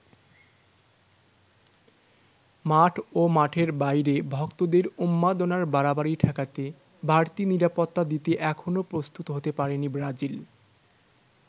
মাঠ ও মাঠের বাইরে ভক্তদের উন্মাদনার বাড়াবাড়ি ঠেকাতে বাড়তি নিরাপত্তা দিতে এখনও প্রস্তুত হতে পারেনি ব্রাজিল।